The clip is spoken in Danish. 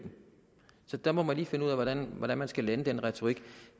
så der må man lige finde ud af hvordan man man skal lande den retorik